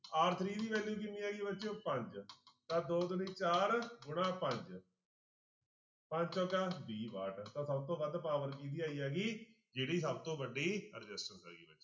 r three ਦੀ value ਕਿੰਨੀ ਆਈ ਬੱਚਿਓ ਪੰਜ ਤਾਂ ਦੋ ਦੂਣੀ ਚਾਰ, ਗੁਣਾ ਪੰਜ ਪੰਜ ਚੋਕਾ ਵੀਹ ਵਾਟ ਤਾਂ ਸਭ ਤੋਂ ਵੱਧ power ਕਿਹਦੀ ਆਈ ਹੈਗੀ ਜਿਹਦੀ ਸਭ ਤੋਂ ਵੱਡੀ resistance